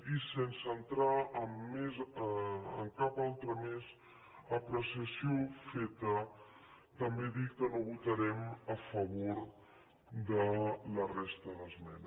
i sense entrar en cap altra més apreciació feta també dir que no votarem a favor de la resta d’esmenes